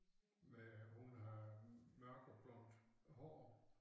Med hun har mørkblond hår